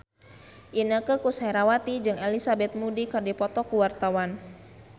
Inneke Koesherawati jeung Elizabeth Moody keur dipoto ku wartawan